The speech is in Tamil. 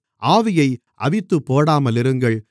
ஆவியை அவித்துப்போடாமலிருங்கள்